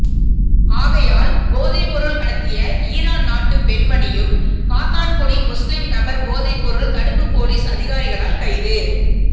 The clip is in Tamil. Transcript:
ஆகையால் போதைப்பொருள் கடத்திய ஈரான் நாட்டு பெண்மணியும் காத்தான்குடி முஸ்லிம் நபர் போதைப்பொருள் தடுப்பு போலிஸ் அதிகாரிகளால் கைது